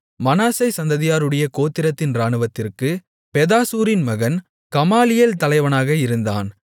மனாசே சந்ததியாருடைய கோத்திரத்தின் இராணுவத்திற்குப் பெதாசூரின் மகன் கமாலியேல் தலைவனாக இருந்தான்